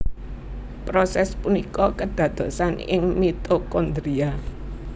Prosès punika kédadosan ing mitokondria